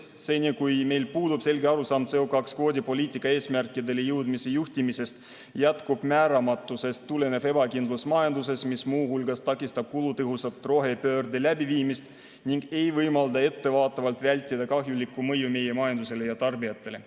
Seni, kui meil puudub selge arusaam CO2 kvoodi poliitika eesmärkidele jõudmise juhtimisest, jätkub määramatusest tulenev ebakindlus majanduses, mis muu hulgas takistab kulutõhusat rohepöörde läbiviimist ning ei võimalda ettevaatavalt vältida kahjulikku mõju meie majandusele ja tarbijatele.